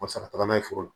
O sara taaga n'a ye foro la